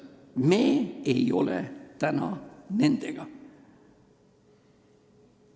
Me ei ole täna nendega.